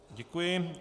Děkuji.